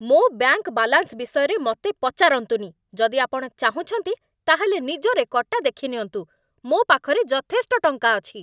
ମୋ bank balance ବିଷୟରେ ମତେ ପଚାରନ୍ତୁନି । ଯଦି ଆପଣ ଚାହୁଁଛନ୍ତି, ତା'ହେଲେ ନିଜ ରେକର୍ଡ଼ଟା ଦେଖିନିଅନ୍ତୁ । ମୋ ପାଖରେ ଯଥେଷ୍ଟ ଟଙ୍କା ଅଛି ।